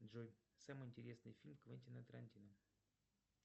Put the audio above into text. джой самый интересный фильм квентина тарантино